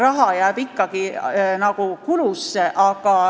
Raha jääb ikkagi nende kulude sisse.